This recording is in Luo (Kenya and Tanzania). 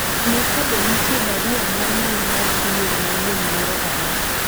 ng'i kabe nitie barua mar mbui mar email manyien moro amora